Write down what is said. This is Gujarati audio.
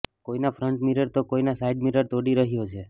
કોઈનો ફ્રન્ટ મિરર તો કોઈનો સાઈડ મિરર તોડી રહ્યો છે